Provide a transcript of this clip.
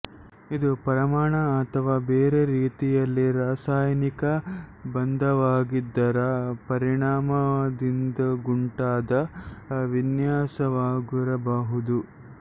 ಇದು ಪರಮಾಣು ಅಥವಾ ಬೇರೆ ರೀತಿಯಲ್ಲಿ ರಾಸಾಯನಿಕ ಬಂಧವಾಗಿದ್ದರ ಪರಿಣಾಮದಿಂದುಂಟಾದ ವಿನ್ಯಾಸವಾಗಿರಬಹುದು